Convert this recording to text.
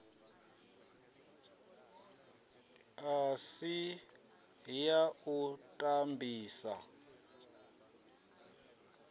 a si ya u tambisa